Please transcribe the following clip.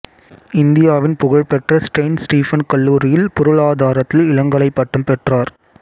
இந்தியாவின் புகழ்பெற்ற Saint Stephen கல்லூரியில் பொருளாதாரத்தில் இளங்கலை பட்டம் பெற்றார்